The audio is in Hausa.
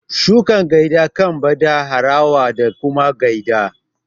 shukar gyada kan bada harawa da kuma gyada